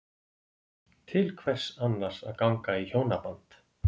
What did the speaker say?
Til hvers annars að ganga í hjónaband?